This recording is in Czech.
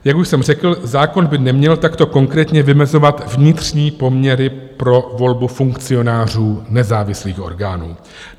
Jak už jsem řekl, zákon by neměl takto konkrétně vymezovat vnitřní poměry pro volbu funkcionářů nezávislých orgánů.